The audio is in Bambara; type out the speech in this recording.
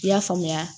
I y'a faamuya